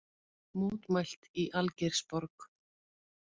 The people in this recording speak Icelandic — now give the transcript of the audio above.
Mótmælt í Algeirsborg